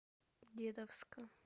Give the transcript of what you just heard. дедовска